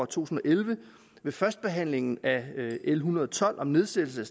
tusind og elleve ved førstebehandlingen af l en hundrede og tolv om nedsættelse